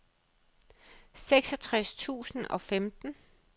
seksogtres tusind og femten